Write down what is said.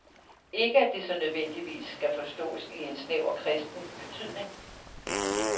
Ikke at det så nødvendigvis skal forståes i snæver kristen betydning.